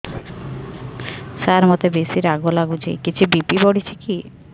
ସାର ମୋତେ ବେସି ରାଗ ଲାଗୁଚି କିଛି ବି.ପି ବଢ଼ିଚି କି